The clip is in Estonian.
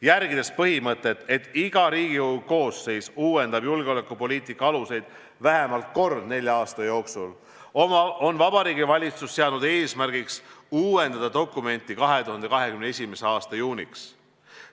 Järgides põhimõtet, et iga Riigikogu koosseis uuendab julgeolekupoliitika aluseid vähemalt kord nelja aasta jooksul, on Vabariigi Valitsus seadnud eesmärgiks uuendada dokumenti 2021. aasta juuniks.